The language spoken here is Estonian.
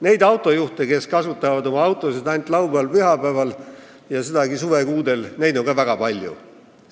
Neid autojuhte, kes kasutavad oma autot ainult laupäeval-pühapäeval ja sedagi suvekuudel, on ka väga palju.